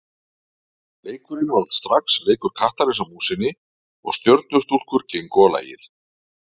Leikurinn varð strax leikur kattarins að músinni og Stjörnustúlkur gengu á lagið.